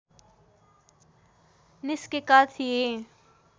निस्केका थिए